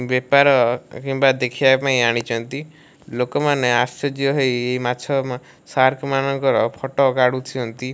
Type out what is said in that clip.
ବେପାର କିମ୍ବା ଦେଖିବା ପାଇଁ ଆଣିଚନ୍ତି। ଲୋକମାନେ ଆଶ୍ଚର୍ଯ୍ୟ ହେଇ ମାଛ ଶାର୍କ ମାନଙ୍କର ଫଟ କାଢୁଛନ୍ତି।